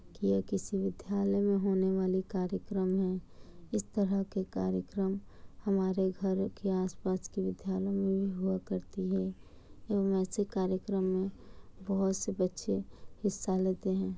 यह किसी विद्यालय में होने वाले कार्यक्रम हैं। इस तरह का कार्यक्रम हमारे घरों के आस-पास के वाले विद्यालयो में भी हुआ करती है और ऐसे कार्यक्रम में बहुत से बच्चे हिस्सा लेते हैं।